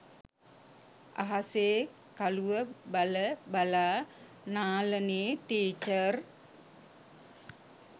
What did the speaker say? අහසේ කළුව බල බලා නාලනී ටීචර්